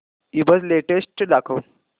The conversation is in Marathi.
ईबझ लेटेस्ट दाखव